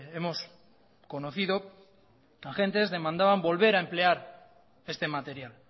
hemos conocido agentes demandaban volver a emplear este material